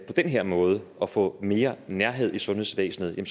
den her måde at få mere nærhed i sundhedsvæsenet vil